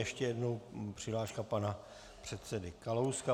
Ještě jednou přihláška pana předsedy Kalouska.